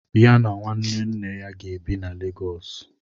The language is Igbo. Ya na nwanne nne ya ga-ebi na Lagos.